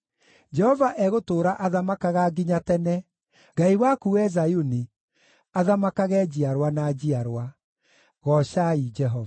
Jehova egũtũũra athamakaga nginya tene, Ngai waku, wee Zayuni, athamakage njiarwa na njiarwa. Goocai Jehova.